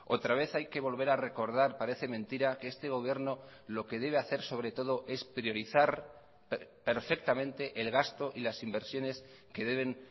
otra vez hay que volver a recordar parece mentira que este gobierno lo que debe hacer sobre todo es priorizar perfectamente el gasto y las inversiones que deben